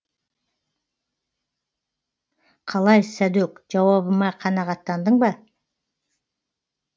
қалай сәдөк жауабыма қанағаттандың ба